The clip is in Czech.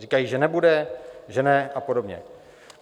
Říkají, že nebude, že ne, a podobně.